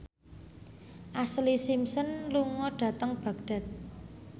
Ashlee Simpson lunga dhateng Baghdad